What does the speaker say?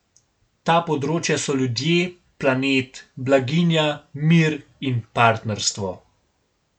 Ta področja so ljudje, planet, blaginja, mir in partnerstvo.